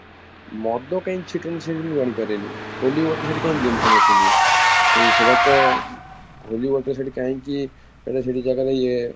ମଦ କାହିଁ ଛିଟନ୍ତି ସେଠି ମୁଁ ଜାଣିପାରେନି holy water ସେଠି କାହିଁକି ଦିଅନ୍ତି ସମସ୍ତଙ୍କୁ ଏ ସେଇଟା ତ holy water ସେଠି କାହିଁକି ମାନେ ସେଠି ଜାଗାରେ ଇଏ